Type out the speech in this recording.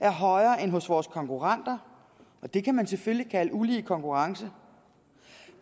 er højere end hos vores konkurrenter og det kan man selvfølgelig kalde ulige konkurrence